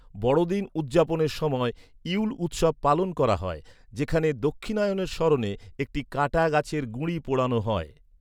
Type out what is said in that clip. বড়দিন উদযাপনের সময় ইউল উৎসব পালন করা হয়, যেখানে দক্ষিণায়ণের স্মরণে একটি কাটা গাছের গুঁড়ি পোড়ানো হয়।